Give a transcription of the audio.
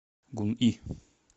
гунъи